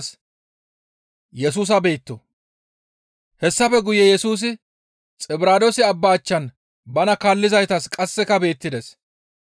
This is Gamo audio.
Hessafe guye Yesusi Xibiraadoose Abba achchan bana kaallizaytas qasseka beettides.